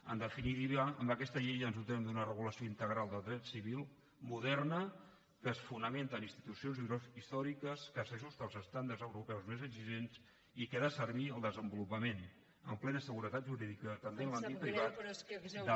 en definitiva amb aquesta llei ens dotem d’una regulació integral del dret civil moderna que es fonamenta en institucions històriques que s’ajusta als estàndards europeus més exigents i que ha de servir al desenvolupament amb plena seguretat jurídica també en l’àmbit privat